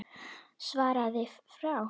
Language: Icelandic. Svarið frá